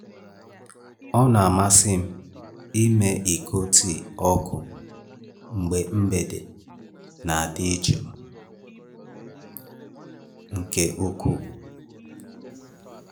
Ọ na-amasị m ịme iko tii ọkụ mgbe mgbede na-adị jụụ nke ukwuu.